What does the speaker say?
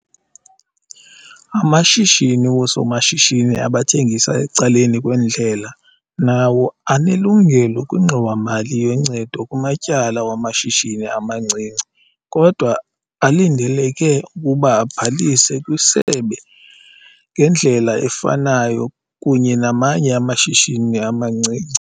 Amashishini woosomashishini abathengisa ecaleni kwendlela nawo anelungelo kwiNgxowa-mali yoNcedo kuMatyala wamaShishini amaNcinci kodwa alindeleke ukuba abhalise kwiSebe ngendlela efanayo kunye namanye amashishini amancinci.